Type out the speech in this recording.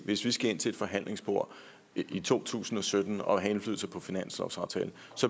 hvis vi skal ind til et forhandlingsbord i to tusind og sytten og have indflydelse på finanslovsaftalen